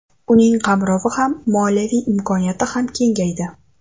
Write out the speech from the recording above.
Uning qamrovi ham, moliyaviy imkoniyati ham kengaydi.